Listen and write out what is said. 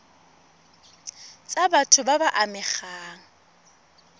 tsa batho ba ba amegang